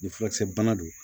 Ni furakisɛ bana don